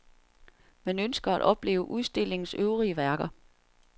Man ønsker at opleve udstillings øvrige værker.